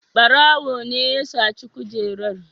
Ɓarawo ne ya saci kujerar.